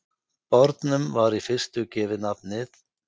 Bornum var í fyrstu gefið nafnið